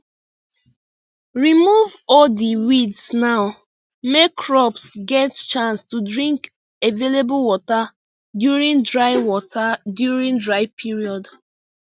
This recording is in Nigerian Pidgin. remove all di weeds now make crops get chance to drink available water during dry water during dry period